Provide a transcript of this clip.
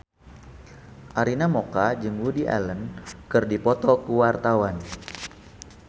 Arina Mocca jeung Woody Allen keur dipoto ku wartawan